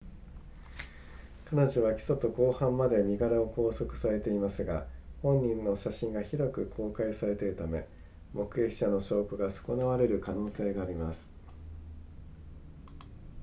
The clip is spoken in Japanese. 彼女は起訴と公判まで身柄を勾留されていますが本人の写真が広く公開されているため目撃者の証拠が損なわれる可能性があります